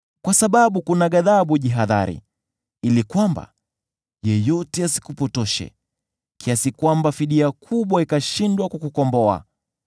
Uwe mwangalifu ili yeyote asikushawishi kwa utajiri; usipotoshwe kwa fungu kubwa la rushwa.